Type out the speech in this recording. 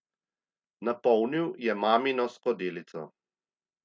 Napolnil je mamino skodelico.